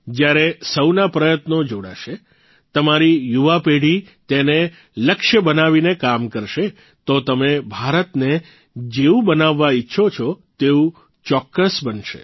જયારે સૌના પ્રયત્નો જોડાશે તમારી યુવાપેઢી તેને લક્ષ્ય બનાવીને કામ કરશે તો તમે ભારતને જેવું બનાવવા ઇચ્છો છો તેવું ચોક્કસ બનશે